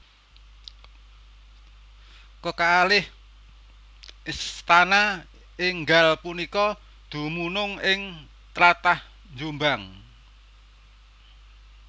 Kekalih istana énggal punika dumunung ing tlatah Jombang